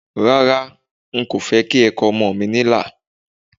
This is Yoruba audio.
Rárá, n kò fẹ́ kí ẹ kọ ọmọ mi ní ilà